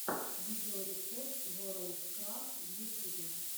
видеорецепт ворлдкрафт в ютубе